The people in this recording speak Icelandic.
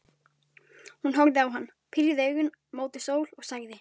Hún horfði á hann, pírði augun mót sól og sagði: